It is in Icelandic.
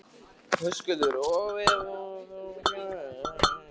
Höskuldur: Og ef að hún kemur ekki?